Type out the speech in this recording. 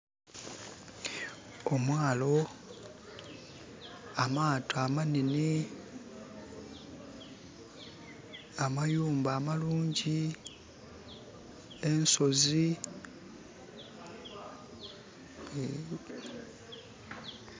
Omwaalo, amaato amanhenhe, amayumba amalungi, ensozi...